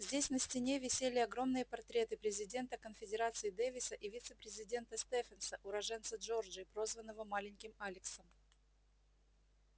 здесь на стене висели огромные портреты президента конфедерации дэвиса и вице-президента стефенса уроженца джорджии прозванного маленьким алексом